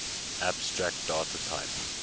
abstract data type